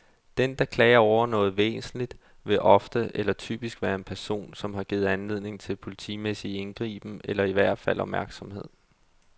Den, der klager over noget væsentligt, vil ofte, eller typisk, være en person, som har givet anledning til politimæssig indgriben, eller i hvert fald opmærksomhed.